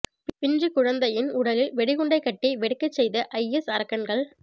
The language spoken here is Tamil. பிஞ்சுக் குழந்தையின் உடலில் வெடிகுண்டை கட்டி வெடிக்கச் செய்த ஐஎஸ் அரக்கன்கள்